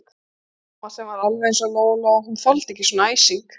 Mamma sem var alveg eins og Lóa-Lóa, hún þoldi ekki svona æsing.